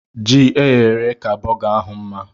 Ji eyere èyé ka burger ahụ mma